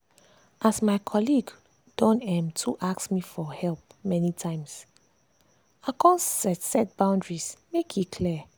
as my colleague don um too ask me for help many times i come set set boundary make e clear.